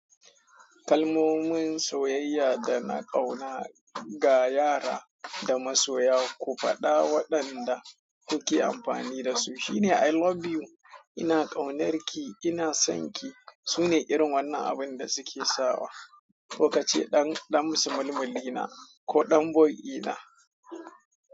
Kalmomin soyayya da na ƙauna ga yara da masoya, ku faɗa waɗanda kuke amfani da su. Shi ne I love you, ina ƙaunarki, ina son ki. Su ne irin wannan abin da suke sawa. Ko ka ce ɗan ɗan sulmumullina ko ɗan boy ina.